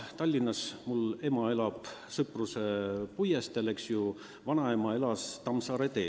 Tallinnas elab mu ema Sõpruse puiesteel, vanaema elas Tammsaare teel.